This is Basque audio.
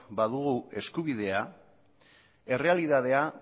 badugu eskubidea errealitatea